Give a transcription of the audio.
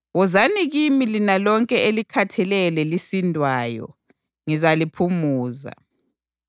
Wozani kimi lina lonke elikhatheleyo lelisindwayo, ngizaliphumuza.